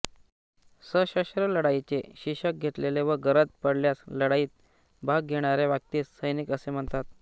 सशस्त्र लढाईचे शिकष घेतलेले व गरज पडल्यास लढाईत भाग घेणाऱ्या व्यक्तीस सैनिक असे म्हणतात